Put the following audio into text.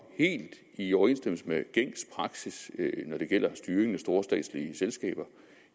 helt i overensstemmelse med gængs praksis når det gælder styringen af store statslige selskaber